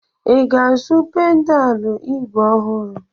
I ga-azụ pedalụ ígwè ọhụrụ?